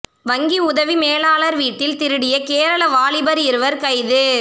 வங்கி உதவி மேலாளர் வீட்டில் திருடிய கேரள வாலிபர் இருவர் கைது